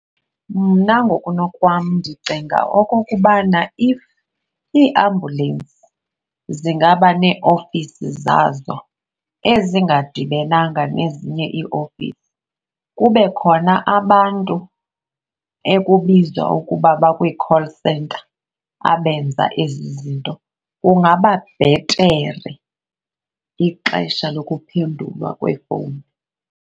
Mna ngokunokwam ndicinga okokubana if iiambulensi zingaba neeofisi zazo ezingadibenanga nezinye iiofisi, kube khona abantu ekubizwa ukuba bakwi-call center abenza ezi zinto kungaba bhetere ixesha lokuphendulwa kweefowuni.